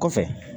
Kɔfɛ